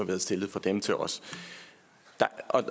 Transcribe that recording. været stillet fra dem til os